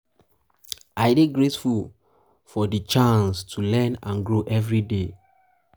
i dey grateful for grateful for di chance to learn and grow every day.